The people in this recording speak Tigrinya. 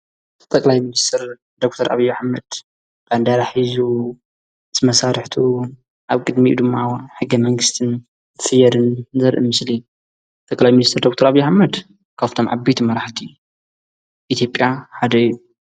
ጠቀላይ ምንስትር ደተር ኣብዮ ኃመድ ባንዳራ ሒዙ ዝመሳርሕቱው ኣብ ቅድሚ ድማ ሕጊ መንግሥትን ፍየርን ዘርእ ምስሊ ጠቀላይ ምኒስተር ደኽተር ኣብዪ ኣሕመድ ካብቶም ዓቢይት መራሕቲ ኢቲዮጴያ ሓደ እዩ።